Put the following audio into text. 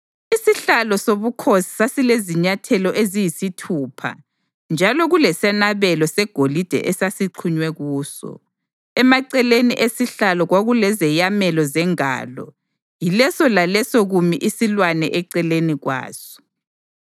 Isihlalo sobukhosi sasilezinyathelo eziyisithupha njalo kulesenabelo segolide esasixhunywe kuso. Emaceleni esihlalo kwakulezeyamelo zengalo, yileso laleso kumi isilwane eceleni kwaso.